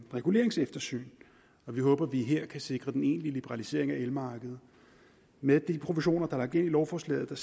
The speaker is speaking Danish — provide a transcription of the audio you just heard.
reguleringseftersyn og vi håber at vi her kan sikre den egentlige liberalisering af elmarkedet med de proportioner der er lagt ind i lovforslaget og